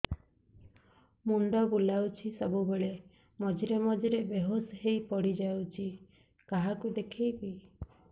ମୁଣ୍ଡ ବୁଲାଉଛି ସବୁବେଳେ ମଝିରେ ମଝିରେ ବେହୋସ ହେଇ ପଡିଯାଉଛି କାହାକୁ ଦେଖେଇବି